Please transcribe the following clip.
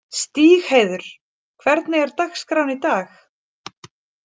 Stígheiður, hvernig er dagskráin í dag?